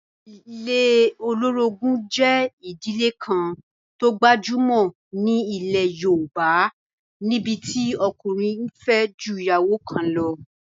Ilé olórogún jẹ́ ìdílé kan tó gbajúmọ̀ ní ilẹ̀ yóòbá, níbití ọkùnrin n fẹ́ ju ìyàwó kan lọ